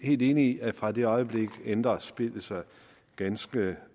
helt enig i at fra det øjeblik ændrer spillet sig ganske